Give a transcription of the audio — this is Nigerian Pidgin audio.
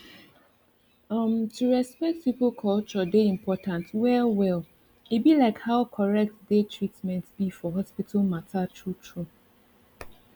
uhm to respect people culture dey important well well e be like how correct dey treatment be for hospital matter true true